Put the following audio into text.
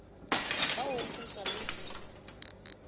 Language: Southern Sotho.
ba ho kgeswa le ho